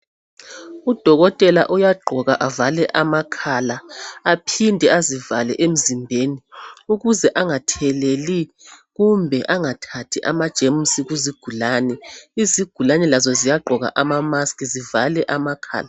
Udokotela uyagqoka avale amakhala, aphinde azivale emzimbeni ukuze angatheleli kumbe angathathi amajemusi kuzigulane . Izigulane lazo ziyagqoka ama mask zivale amakhala.